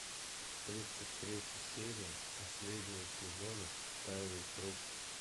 тридцать третья серия последнего сезона тайный круг